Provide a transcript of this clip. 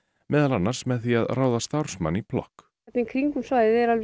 meðal annars með því að ráða starfsmann í í kringum svæðið er alveg